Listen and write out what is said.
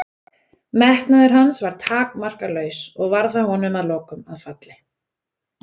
Metnaður hans var takmarkalaus og varð það honum að lokum að falli.